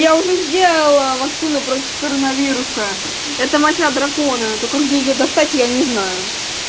я уже сделала вакцину против коронавируса это моча дракона только где её достать я не знаю